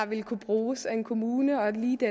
vil kunne bruges af en kommune og lige det